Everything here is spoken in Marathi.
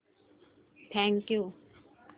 thank you